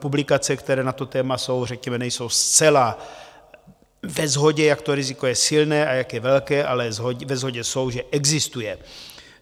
Publikace, které na toto téma jsou, řekněme nejsou zcela ve shodě, jak to riziko je silné a jak je velké, ale ve shodě jsou, že existuje.